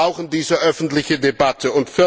Wir brauchen diese öffentliche Debatte.